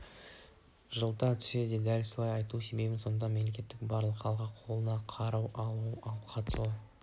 жылыта түседі деп дәлелдей айту себебім сондықтан мемлекетінің барлық халқы қолына қару алып қатысуда